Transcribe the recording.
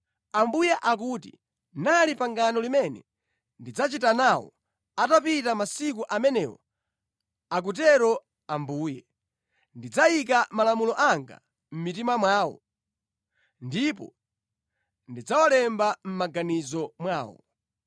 “Ili ndi pangano limene ndidzachita nawo atapita masiku amenewo,” akutero Yehova. “Ndidzayika malamulo anga mʼmitima mwawo, ndipo ndidzawalemba mʼmaganizo mwawo.”